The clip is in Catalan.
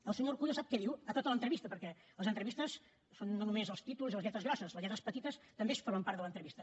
el senyor urkullu sap què diu a tota l’entrevista perquè les entrevistes són no només els títols i les lletres grosses les lletres petites també formen part de l’entrevista